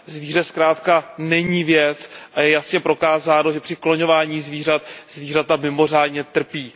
Zvíře zkrátka není věc, a je jasně prokázáno, že při klonován zvířat zvířata mimořádně trpí.